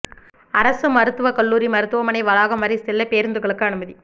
அரசு மருத்துவக் கல்லூரி மருத்துவமனை வளாகம் வரை செல்ல பேருந்துகளுக்கு அனுமதி